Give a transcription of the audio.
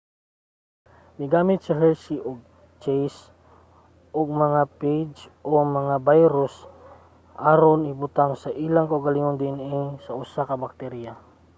migamit si hershey ug chase og mga phage o mga bayrus aron ibutang ang ilang kaugalingong dna sa usa ka bakterya